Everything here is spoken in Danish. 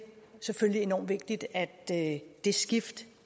selvfølgelig enormt vigtigt at det skift